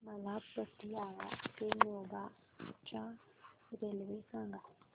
मला पतियाळा ते मोगा च्या रेल्वे सांगा